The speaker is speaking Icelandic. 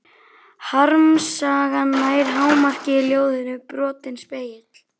Harmsagan nær hámarki í ljóðinu Brotinn spegill.